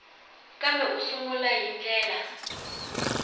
kambe u sungula hi ndlela